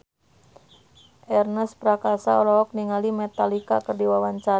Ernest Prakasa olohok ningali Metallica keur diwawancara